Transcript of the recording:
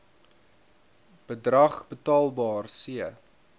bedrag betaalbaar c